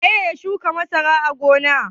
Wane ne ya shuka masara a gona?